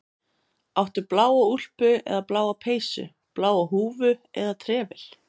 Áttu bláa úlpu eða bláa peysu, bláa húfu eða trefil?